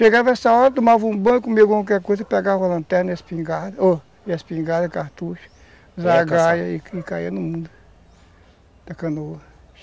Chegava essa hora, tomava um banho,, comia qualquer coisa, pegava lanterna, espingarda, ó, espingarda, cartucho, zagaia e caía no mundo na canoa.